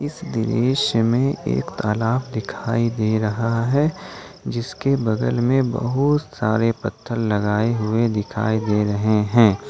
इस दृश्य में एक तालाब दिखाई दे रहा है जिसके बगल में बहुत सारे पत्थर लगाए हुए दिखाई दे रहे हैं।